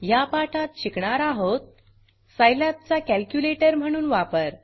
ह्या पाठात शिकणार आहोत सिलाब चा कॅलक्युलेटर म्हणून वापर